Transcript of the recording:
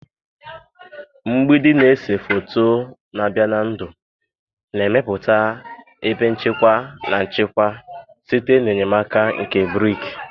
Mgbidi na-ese foto na-abịa na ndụ na-emepụta ebe nchekwa na nchekwa site n'enyemaka nke brik